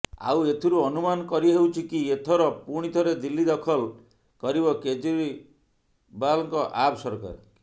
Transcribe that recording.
ଆଉ ଏଥିରୁ ଅନୁମାନ କରିହେଉଛି କି ଏଥର ପୁଣି ଥରେ ଦିଲ୍ଲୀ ଦଖଲ କରିବ କେଜ୍ରିବାଲଙ୍କ ଆପ୍ ସରକାର